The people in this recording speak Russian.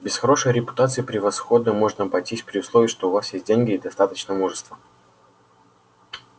без хорошей репутации превосходно можно обойтись при условии что у вас есть деньги и достаточно мужества